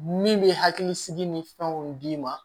Min bɛ hakili sigi ni fɛnw d'i ma